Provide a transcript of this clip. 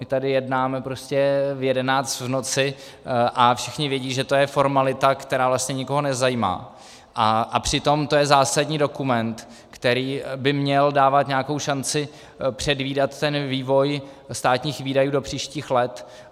My tady jednáme prostě v 11 v noci a všichni vědí, že to je formalita, která vlastně nikoho nezajímá, a přitom to je zásadní dokument, který by měl dávat nějakou šanci předvídat ten vývoj státních výdajů do příštích let.